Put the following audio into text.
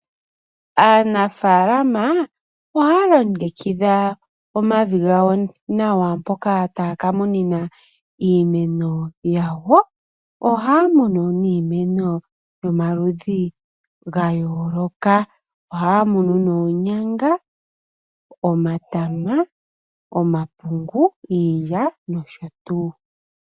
Aanafaalama ohaya longekidha omavi gawo nawa mpoka taya kamuna iimeno yawo. Ohaya munu niimeno yomaludhi gayooloka. Ohaya munu oonyanga, omatama, omapungu, iilya nosho tuu.